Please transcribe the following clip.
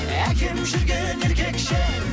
әкем жүрген еркекше